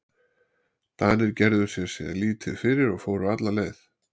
Danir gerðu sér síðan lítið fyrir og fóru alla leið.